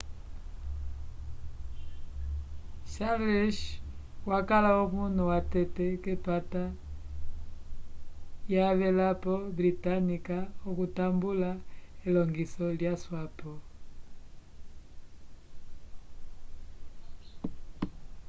charles wakala omunu watete k'epata yavelapo britânica okutambula elongiso yaswapo